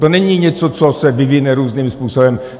To není něco, co se vyvine různým způsobem.